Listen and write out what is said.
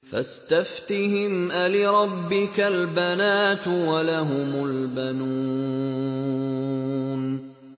فَاسْتَفْتِهِمْ أَلِرَبِّكَ الْبَنَاتُ وَلَهُمُ الْبَنُونَ